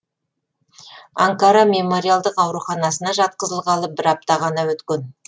анкара мемориалдық ауруханасына жатқызылғалы бір апта ғана өткен